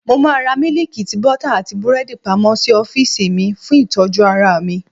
Mo máa ra mílíìkì, tíì, bọ́tà, àti búrẹ́dì pamọ́ sí ọ́fíìsì mi, fún ìtọ́jú ara mi.